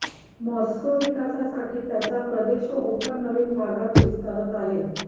Moscow विकासासाठी त्याच्या प्रदेश व ओपन नवीन भागात विस्तारत आहे